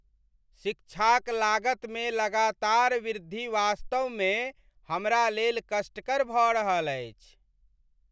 शिक्षाक लागतमे लगातार वृद्धि वास्तवमे हमरालेल कष्टकर भऽ रहल अछि।